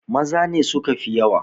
Maza ne suka fi yawa!